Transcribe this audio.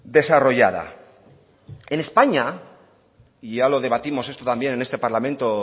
desarrollada en españa y yo lo debatimos esto también en este parlamento